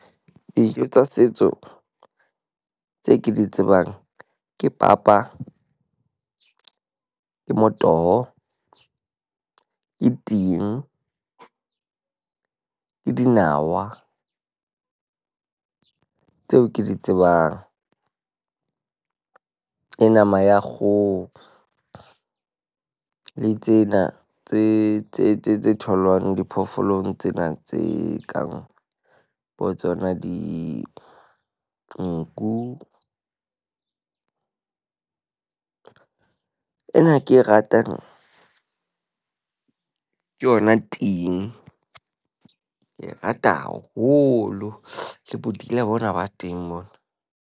Dijo tsa setso tse ke di tsebang ke papa, ke motoho, ke ting. Ke dinawa. Tseo ke di tsebang, ke nama ya kgoho. Le tsena tse tse tse tse tholwang diphoofolong tsena tse kang bo tsona dinku. Ena ke e ratang, ke yona ting. Ke e rata haholo, le bodila bona ba teng mona.